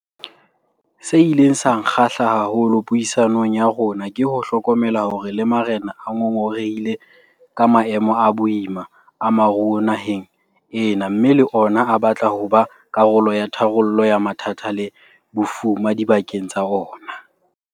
Se ileng sa nkgahla haholo puisanong ya rona ke ho hlokomela hore le marena a ngongorehile ka maemo a boima a moruo naheng ena mme le ona a batla ho ba karolo ya tharollo ya mathata le bofuma dibakeng tsa ona.